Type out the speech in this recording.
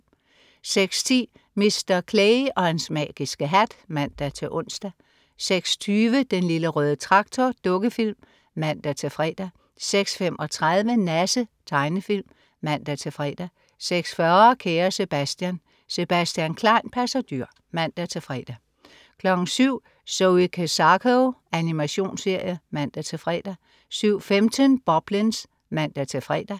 06.10 Mr. Clay og hans magiske hat (man-ons) 06.20 Den Lille Røde Traktor. Dukkefilm (man-fre) 06.35 Nasse. Tegnefilm (man-fre) 06.40 Kære Sebastian. Sebastian Klein passer dyr (man-fre) 07.00 Zoe Kezako. Animationsserie. (man-fre) 07.15 Boblins (man-fre)